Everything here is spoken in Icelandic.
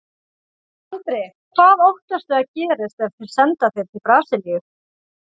Andri: Hvað óttastu að gerist ef þeir senda þig til Brasilíu?